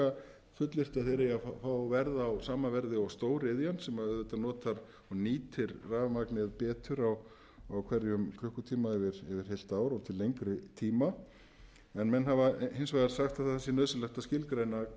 að þeir eigi að fá verð á sama verði og stóriðjan sem auðvitað notar og nýtir rafmagnið betur á hverjum klukkutíma yfir heilt ár og til lengri tíma en menn hafa hins vegar sagt að það sé nauðsynlegt að skilgreina